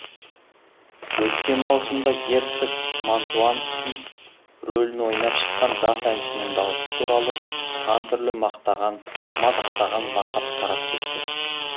өткен маусымда герцог мантуанский рөлін ойнап шыққан жас әншінің даусы туралы сан түрлі мақтаған мадақтаған лақап тарап кеткен